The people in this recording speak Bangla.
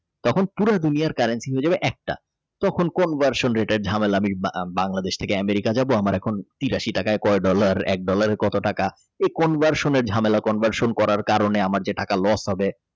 তখন পুরো দুনিয়ার currency হয়ে যাবে একটা তোর কোন version দেটাই Bangladesh থেকে America যাবো এখন তেত্রিশ টাকা dollar এক dollar কত টাকা conversion একটা ঝামেলা conversion করার কারণে আমার যে টাকা los হবে